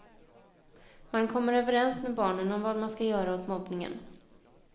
Man kommer överens med barnen om vad man skall göra åt mobbningen.